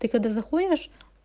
ты когда заходишь